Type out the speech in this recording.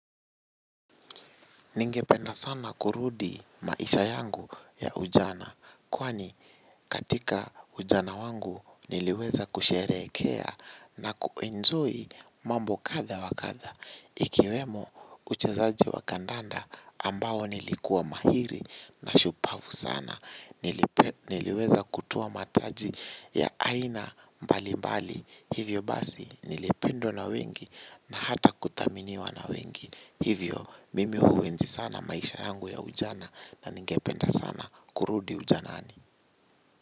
Ningependa sana kurudi maisha yangu ya ujana. Kwani katika ujana wangu niliweza kusherekea na ku enjoy mambo kadha wa kadha. Ikiwemo uchezaji wa kandanda ambao nilikuwa mahiri na shupavu sana. Niliweza kutoa mataji ya aina mbali mbali. Hivyo basi nilipendo na wengi na hata kutaminiwa na wengi. Hivyo mimi huenzi sana maisha yangu ya ujana na ningependa sana kurudi ujanani.